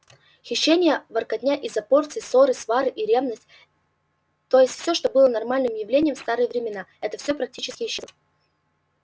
хищения воркотня из-за порции ссоры свары и ревность то есть всё что было нормальным явлением в старые времена это всё практически исчезло